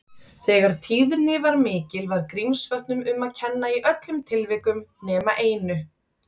Þegar tíðni var mikil, var Grímsvötnum um að kenna í öllum tilvikum nema einu.